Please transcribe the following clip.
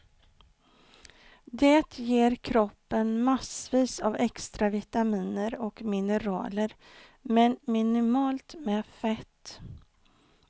Det ger kroppen massvis av extra vitaminer och mineraler men minimalt med fett.